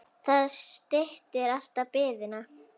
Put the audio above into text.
Það styttir alltaf biðina.